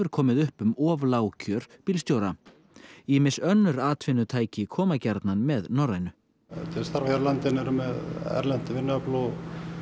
komið upp um of lág kjör bílstjóra ýmis önnur atvinnutæki koma gjarnan með Norrænu til að starfa hér á landi en eru með erlent vinnuafl og